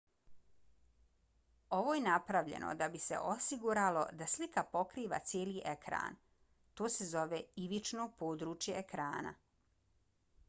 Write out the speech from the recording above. ovo je napravljeno da bi se osiguralo da slika pokriva cijeli ekran. to se zove ivično područje ekrana